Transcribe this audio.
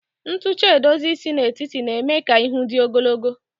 Ntucha edozi isi n'etiti na-eme ka ihu dị ogologo